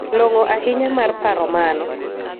Long'o ahinya mar paro mano.